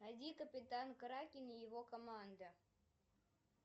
найди капитан кракен и его команда